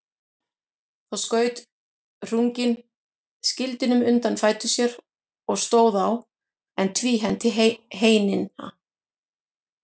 Þá skaut Hrungnir skildinum undir fætur sér og stóð á, en tvíhenti heinina.